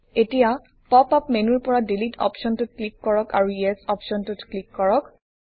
এতিয়া pop up মেনুৰ পৰা ডিলিট অপশ্বনটোত ক্লিক কৰক আৰু ইএছ অপশ্বনটোত ক্লিক কৰক